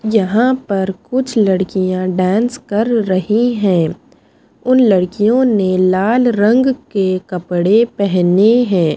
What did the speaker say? यहाँ पर कुछ लड़कियाँ डांस कर रही हैं उन लड़कियों ने लाल रंग के कपड़े पहने हैं।